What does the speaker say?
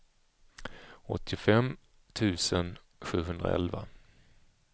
åttiofem tusen sjuhundraelva